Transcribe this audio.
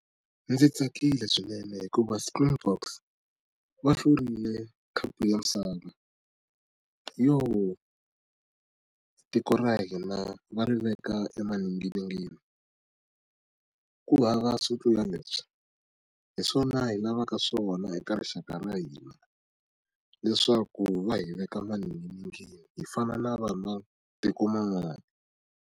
Ndzi tsakile swinene hikuva springboks va hlurile khapu ya misava tiko ra hina va ri veka emaninginingini ku hava swo tlula leswi hi swona hi lavaka swona eka rixaka ra hina leswaku va hi veka maninginingini hi fana na vanhu va tiko man'wana.